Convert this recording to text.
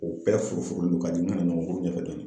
U bɛɛ furu furuni no ka jigin ka na nɔgɔnkuru ɲɛfɛ dɔɔni.